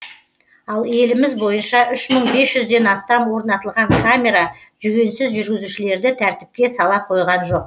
ал еліміз бойынша үш мың бес жүзден астам орнатылған камера жүгенсіз жүргізушілерді тәртіпке сала қойған жоқ